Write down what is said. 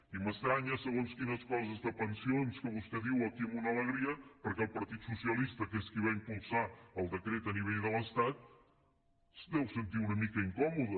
i m’estranyen segons quines coses de pensions que vostè diu aquí amb una alegria perquè el partit socialista que és qui va impulsar el decret a nivell de l’estat es deu sentir una mica incòmode